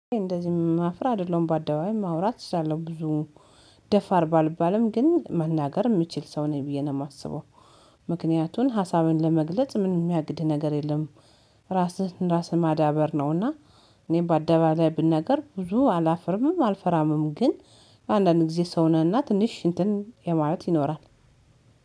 እንደዚህ ማፍራ አይደለም ባደባይ ማውራት እስላለሁ ብዙ ደፋር ባልባልም ግን መናገር የሚችል ሰው ነኝ ብዬ ነው የማስበው ምክንያቱን ሀሳብን ለመግለጽ ምን የሚያግድ ነገር የለም። ራስህን ራስህን ማዳበር ነውና። እኔ በአደባባይ ላይ ብናገር ብዙ አላፍርምም አልፈራምም ግን። አንዳንድ ጊዜ ሰው ነህና ትንሽ እንትን የማየት ይኖራል።